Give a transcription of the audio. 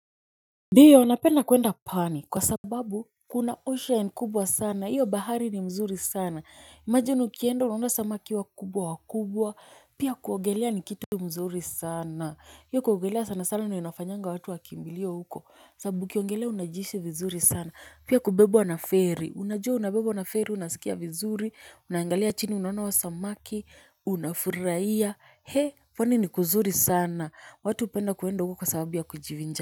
Diyo, napenda kuenda pwani kwa sababu kuna ocean kubwa sana, hiyo bahari ni mzuri sana. Imagine ukienda unaona samaki wakubwa wakubwa pia kuogelea ni kitu mzuri sana. Hiyo kuogelea sana sana ndio inafanyanga watu wakimbilie huko sababu ukiogelea unajihisi vizuri sana. Pia kubebwa na feri, unajua unabebwa na feri unasikia vizuri, unaangalia chini unaona wa samaki, unafurahia. He, pwani ni kuzuri sana. Watu hupenda kuenda huko kwa sababu ya kujivinja.